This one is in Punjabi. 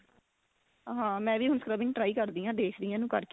ਹਾਂ ਮੈ ਵੀ ਹੁਣ scrubbing try ਕਰਦੀ ਹਾਂ ਦੇਖਦੀ ਆ ਇਨੂੰ ਕਰਕੇ